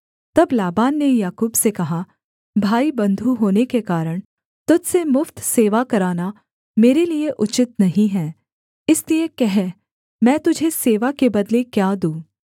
तब लाबान ने याकूब से कहा भाईबन्धु होने के कारण तुझ से मुफ्त सेवा कराना मेरे लिए उचित नहीं है इसलिए कह मैं तुझे सेवा के बदले क्या दूँ